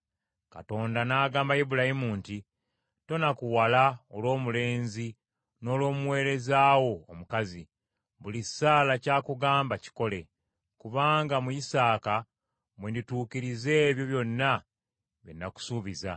Katonda n’agamba Ibulayimu nti, “Tonakuwala olw’omulenzi n’olw’omuweereza wo omukazi, buli Saala ky’akugamba kikole; kubanga mu Isaaka mwe ndituukiririza ebyo byonna bye nakusuubiza.